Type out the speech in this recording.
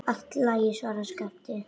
Allt í lagi, svaraði Skapti.